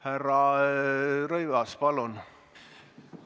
Härra Rõivas, palun!